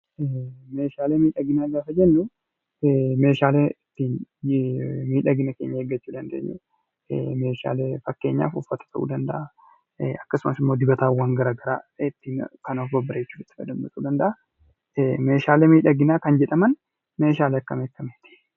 Meeshaalee miidhaginaa gaafa jennu, Meeshaalee ittiin miidhagina keenya eegnu, Meeshaalee fakkeenyaaf uffata keenya eegnu akkasumas immoo dibataawwan garaagaraa kan ittiin of babbareechinu ta'uu danda'a. Meeshaalee miidhaginaa kan jedhaman Meeshaalee akkami akkamiiti?